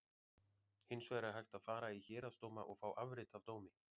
Hins vegar er hægt að fara í héraðsdóma og fá afrit af dómi.